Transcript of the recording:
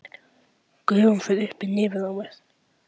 Gufan fer upp í nefið á mér.